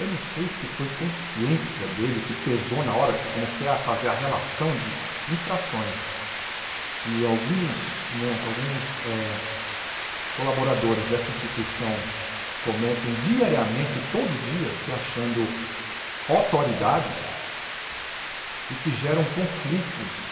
Eu não sei se foi consciência dele que pesou na hora que eu comecei a fazer a relação de infrações que alguns, né, alguns eh colaboradores dessa instituição cometem diariamente, todo dia, se achando autoridades e que geram conflitos